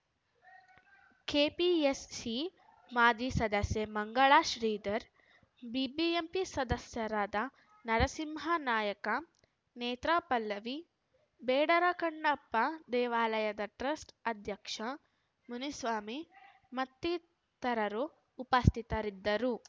KPSC ಮಾಜಿ ಸದಸ್ಯೆ Mangala Sridhar BBMP ಸದಸ್ಯರಾದ ನರಸಿಂಹನಾಯಕ ನೇತ್ರಾ ಪಲ್ಲವಿ ಬೇಡರ ಕಣ್ಣಪ್ಪ ದೇವಾಲಯದ ಟ್ರಸ್ಟ್‌ ಅಧ್ಯಕ್ಷ ಮುನಿಸ್ವಾಮಿ ಮತ್ತಿತರರು ಉಪಸ್ಥಿತರಿದ್ದರು